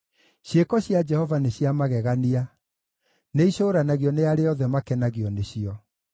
Ciĩko cia Jehova nĩ cia magegania; nĩicũũranagio nĩ arĩa othe makenagio nĩcio.